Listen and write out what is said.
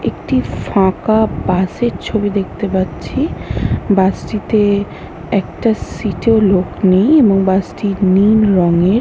একটি ফাঁকা বাসের ছবি দেখতে পাচ্ছি। বাস টিতে একটা সিটে ও লোক নেই এবং বাস টি নীল রঙের।